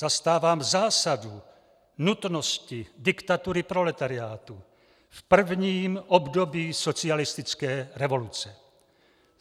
Zastávám zásadu nutnosti diktatury proletariátu v prvním období socialistické revoluce.